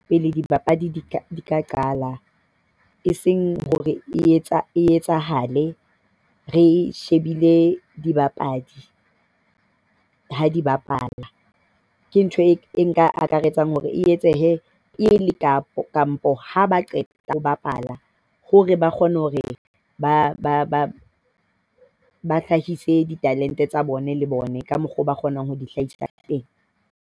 Pele dipapadi di ka qala e seng hore e etsahale re shebile dibapadi ha di bapala. Ke ntho e nka akaretsang hore e etsehe pele kapa kampo ha ba qeta ho bapala hore ba kgone hore ba ba hlahise ditalente tsa bone le bone ka mokgwa oo ba kgonang ho di hlahisa ka teng.